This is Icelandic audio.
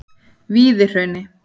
Víðihrauni